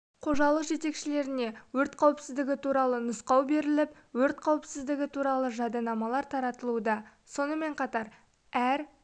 қожалық жетекшілеріне өрт қауіпсіздігі туралы нұсқау беріліп өрт қауіпсіздігі туралы жадынамалар таратылуда сонымен қатар әр